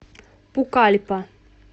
пукальпа